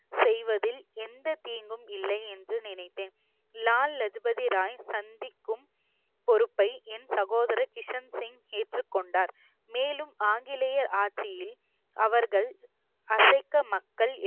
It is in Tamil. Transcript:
செய்வதில் எந்த தீங்கும் இல்லை என்று நினைத்தேன் லால் லஜு பதி ராய் சந்திக்கும் பொறுப்பை என் சகோதரர் கிஷன் சிங் ஏற்றுக்கொண்டார் மேலும் ஆங்கிலேயர் ஆட்சியில் அவர்கள் அசைக்க மக்கள்